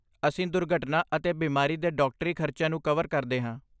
ਅਸੀਂ ਦੁਰਘਟਨਾ ਅਤੇ ਬਿਮਾਰੀ ਦੇ ਡਾਕਟਰੀ ਖਰਚਿਆਂ ਨੂੰ ਕਵਰ ਕਰਦੇ ਹਾਂ।